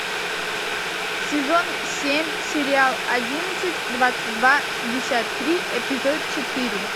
сезон семь сериал одиннадцать двадцать два шестьдесят три эпизод четыре